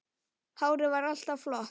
Hárið var alltaf flott.